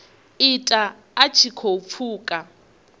ita a tshi khou pfuka